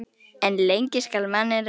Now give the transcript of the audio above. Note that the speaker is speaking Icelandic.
En lengi skal manninn reyna.